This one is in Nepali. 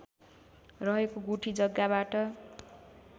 रहेको गुठी जग्गाबाट